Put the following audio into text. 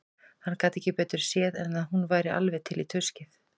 Hann gat ekki betur séð en að hún væri alveg til í tuskið.